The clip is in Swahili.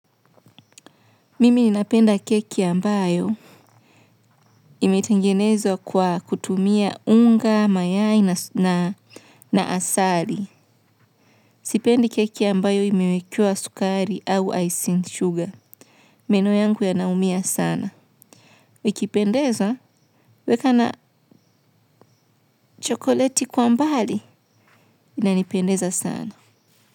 Mimi ninapenda keki ambayo imetangenezwa kwa kutumia unga, mayai na asali. Sipendi keki ambayo imewekua sukari au icing sugar. Meno yangu yanaumia sana. Wikipendeza, weka na chokoleti kwa mbali, inanipendeza sana.